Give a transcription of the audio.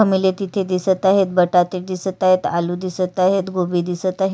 घमेले दिसत आहे बटाटे दिसत आहेत आलू दिसत आहेतगोबी दिसत आहे.